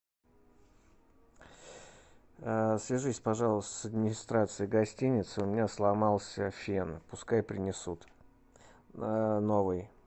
свяжись пожалуйста с администрацией гостиницы у меня сломался фен пускай принесут новый